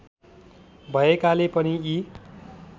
भएकाले पनि यी